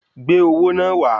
Gbé owó náà wá!